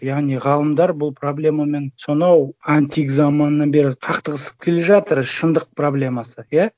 яғни ғалымдар бұл проблемамен сонау антик заманынан бері қақтығысып келе жатыр шындық проблемасы иә